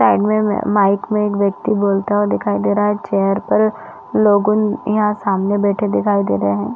Side में mic में एक व्यक्ति बोलता हुआ दिखाई दे रहा है चेयर पर लोग उन यहाँ सामने बैठे दिखाई दे रहे है।